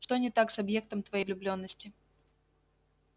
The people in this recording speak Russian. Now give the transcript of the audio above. что не так с объектом твоей влюблённости